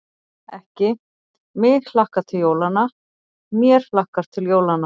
Ekki: mig hlakkar til jólanna, mér hlakkar til jólanna.